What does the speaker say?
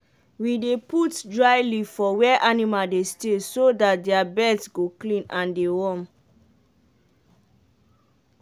we dey put dry leave for where animal dey stay so dat their beds go clean and dey warm.